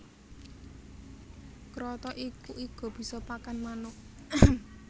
Kroto iki uga bisa kanggo pakan manuk